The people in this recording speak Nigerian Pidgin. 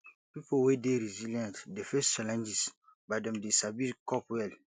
pipo wey dey resilient dey face challenges but dem dey sabi cope well